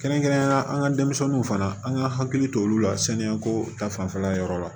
Kɛrɛnkɛrɛnnenyala an ka denmisɛnninw fana an ka hakili to olu la saniya ko ta fanfɛla yɔrɔ la